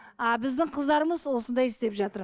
а біздің қыздарымыз осындай істеп жатыр